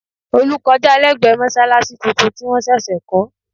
Olú kọjá lẹ́gbẹ̀ẹ́ mọ́ṣáláṣí tuntun tí wọ́n ṣẹ̀ṣẹ̀ kọ́